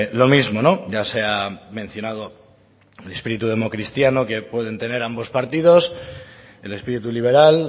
lo mismo ya se ha mencionado el espíritu democristiano que pueden tener ambos partidos el espíritu liberal